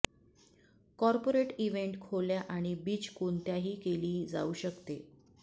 corporate event खोल्या आणि beach कोणत्याही केली जाऊ शकते